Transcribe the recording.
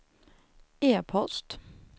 e-post